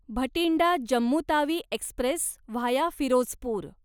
Bathinda Jammu Tawi express via Firozpur